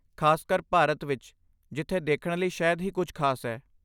ਖ਼ਾਸਕਰ ਭਾਰਤ ਵਿੱਚ ਜਿੱਥੇ ਦੇਖਣ ਲਈ ਸ਼ਾਇਦ ਹੀ ਕੁਝ ਖਾਸ ਹੈ!